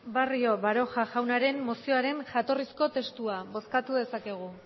barrio baroja jaunaren mozioaren jatorrizko testua bozkatu dezakegu